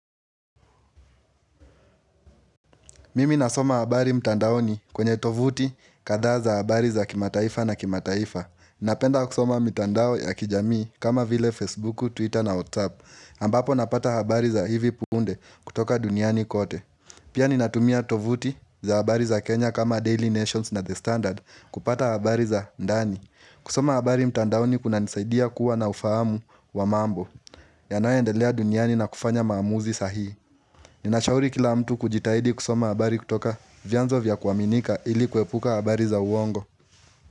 Mimi nasoma habari mtandaoni kwenye tovuti kadha za habari za kimataifa na kimataifa Napenda kusoma mitandao ya kijamii kama vile Facebook, Twitter na WhatsApp ambapo napata habari za hivi punde kutoka duniani kote Pia ninatumia tovuti za habari za Kenya kama Daily Nations na The Standard kupata habari za ndani kusoma habari mtandaoni kunanisaidia kuwa na ufahamu wa mambo yanayoendelea duniani na kufanya maamuzi sahii Ninashauri kila mtu kujitahidi kusoma habari kutoka vyanzo vya kuaminika ili kuepuka habari za uongo.